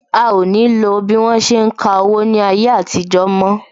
A o ní lo bí wọ́n ṣe ń ka owó ní ayé àtijó mo